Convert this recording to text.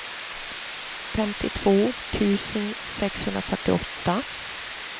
femtiotvå tusen sexhundrafyrtioåtta